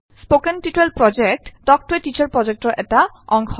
spoken tutorial project talk to a teacher প্ৰজেক্টৰ অংশ